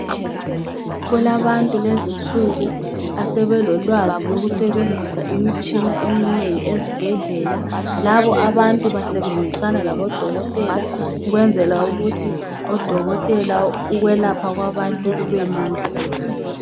Kulabantu kulezi insuku asebelolwazi lokusebenzisa imitshina eminengi esibhedlela. Labo abantu basebenzisana labodokotela ukwenzela ukuthi odokotela ukwelapha kwabantu kubelula.